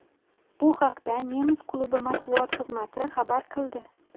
Bu haqda nemis klubi matbuot xizmati xabar qildi .